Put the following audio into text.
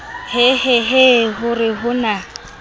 hehehe ho re ho na